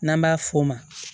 N'an b'a f'o ma